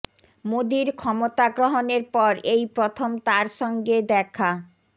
মোদির ক্ষমতা গ্রহণের পর এই প্রথম তার সঙ্গে দেখা